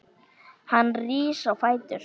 Hann rís á fætur.